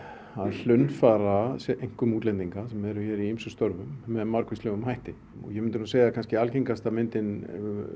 hlunnfara einkum útlendinga sem eru hér í ýmsum störfum með margvíslegum hætti ég myndi segja að algengasta myndin